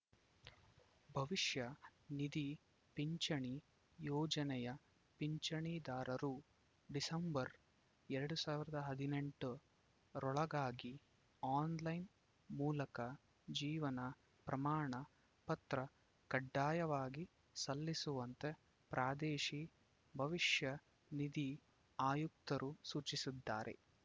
ಭವಿಷ್ಯನಿಧಿ ಪಿಂಚಣಿ ಯೋಜನೆಯ ಪಿಂಚಣಿದಾರರು ಡಿಸೆಂಬರ್‌ ಎರಡ್ ಸಾವಿರದ ಹದಿನೆಂಟು ರೊಳಗಾಗಿ ಆನ್‌ಲೈನ್‌ ಮೂಲಕ ಜೀವನ ಪ್ರಮಾಣ ಪತ್ರ ಕಡ್ಡಾಯವಾಗಿ ಸಲ್ಲಿಸುವಂತೆ ಪ್ರಾದೇಶಿ ಭವಿಷ್ಯ ನಿಧಿ ಆಯುಕ್ತರು ಸೂಚಿಸಿದ್ದಾರೆ